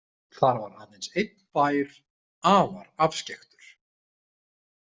Þar var aðeins einn bær, afar afskekktur.